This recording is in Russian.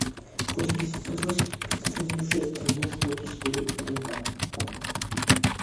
восемь восемьсот восемь пятьсот восемьдесят шесть тринадцать ноль четыре три два